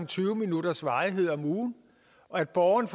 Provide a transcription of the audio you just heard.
tyve minutters varighed om ugen og at borgeren